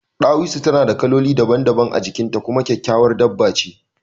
Ɗawisu tana da kaloli daban-daban a jikin ta kuma kyakkyawar dabba ce